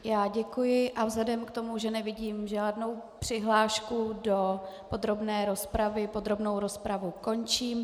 Já děkuji a vzhledem k tomu, že nevidím žádnou přihlášku do podrobné rozpravy, podrobnou rozpravu končím.